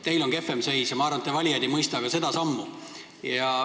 Teil on kehvem seis ja ma arvan, et teie valijad ei mõista ka seda sammu.